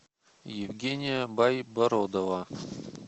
евгения байбородова